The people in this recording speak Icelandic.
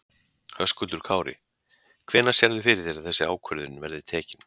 Höskuldur Kári: Hvenær sérðu fyrir þér að þessi ákvörðun verði tekin?